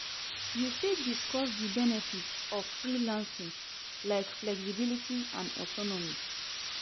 You fit discuss di benefits of freelancing, like flexibility and autonomy.